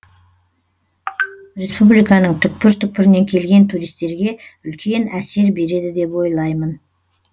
республиканың түкпір түкпірінен келген туристерге үлкен әсер береді деп ойлаймын